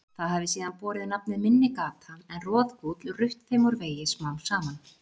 Það hafi síðan borið nafnið Minni-Gata en Roðgúll rutt þeim úr vegi smám saman.